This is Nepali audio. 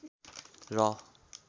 र